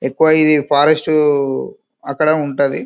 ఎక్కువ ఇది ఫారెస్ట్ అక్కడ ఉంటది.